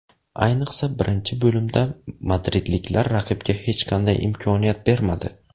Ayniqsa birinchi bo‘limda madridliklar raqibga hech qanday imkoniyat bermadi.